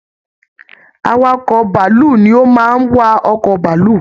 Awakọ bàálù ni o má n wa ọkọ bàálù.